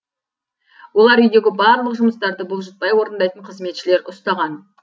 олар үйдегі барлық жұмыстарды бұлжытпай орындайтын қызметшілер ұстаған